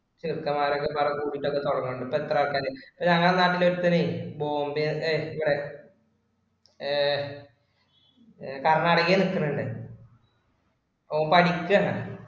ചെറുക്കന്മാര് ഒക്കെ വേറെ ഒക്കെ തുടങ്ങുന്നുണ്ട്. ഇപ്പൊ എത്ര ആൾക്കാര് ഞങ്ങടെ നാട്ടിലെ ഒരുത്തന് ബോംബെ കർനാടാകെ നിക്കണുണ്ട്. ഓൻ പഠിച്ചയാണ്.